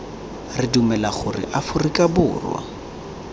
re dumela gore aforika borwa